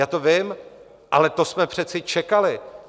Já to vím, ale to jsme přece čekali.